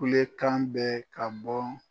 Kule kan bɛ ka bɔ.